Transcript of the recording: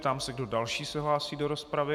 Ptám se, kdo další se hlásí do rozpravy.